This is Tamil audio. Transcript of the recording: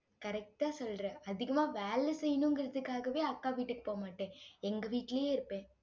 correct ஆ சொல்ற அதிகமா வேலை செய்யணுங்கிறதுக்காகவே, அக்கா வீட்டுக்கு போக மாட்டேன். எங்க வீட்டிலேயே இருப்பேன்.